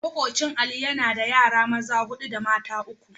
Makwabcin Ali yana da yara maza hudu da mata uku.